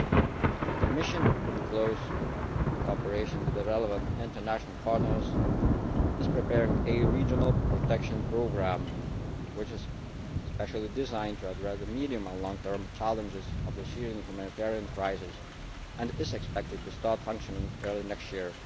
The Commission, in close cooperation with the relevant international partners, is preparing a regional protection programme which is especially designed to address the medium and long term challenges of the Syrian humanitarian crisis and is expected to start functioning early next year.